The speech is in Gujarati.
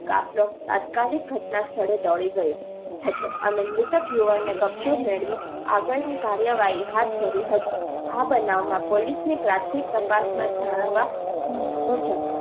કાફલો તાત્કાલિક ઘટના સ્થળે દોડી ગયો હતો અને મૃતક યુવાન ને કબ્જો મેળવી આગળની કાર્યવાહી હાથ ધરી હતી. આ બનાવ માં પોલીસ ને પ્રાથમિક તપાસ માં જાણવા મુજબ